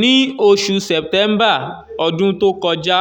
ní oṣù september ọdún tó kọjá